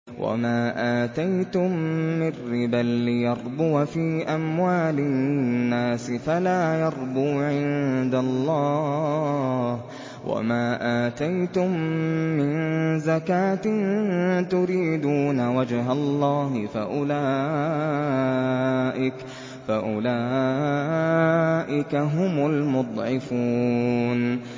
وَمَا آتَيْتُم مِّن رِّبًا لِّيَرْبُوَ فِي أَمْوَالِ النَّاسِ فَلَا يَرْبُو عِندَ اللَّهِ ۖ وَمَا آتَيْتُم مِّن زَكَاةٍ تُرِيدُونَ وَجْهَ اللَّهِ فَأُولَٰئِكَ هُمُ الْمُضْعِفُونَ